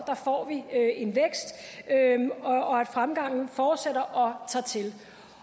at fremgangen fortsætter og tager til